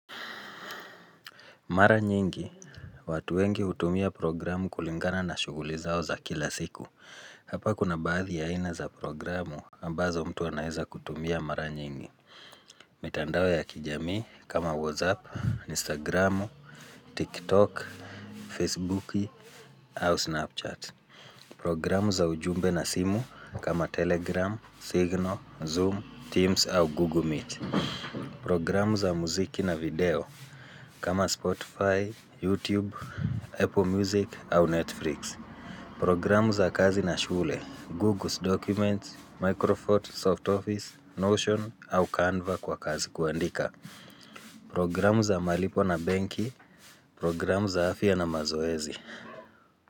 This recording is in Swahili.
Mara nyingi, watu wengi hutumia programu kulingana na shughuli zao za kila siku. Hapa kuna baadhi ya aina za programu ambazo mtu anaweza kutumia mara nyingi. Mitandao ya kijamii kama WhatsApp, Instagram, TikTok, Facebooki au Snapchat. Programu za ujumbe na simu kama Telegram, Signal, Zoom, Teams au Google Meet. Programu za muziki na video kama Spotify. YouTube, Apple music au Netflix. Programu za kazi na shule. Google Documents, Microfoot, Soft Office, Notion au Canva kwa kazi kuandika. Programu za malipo na benki. Programu za afya na mazoezi.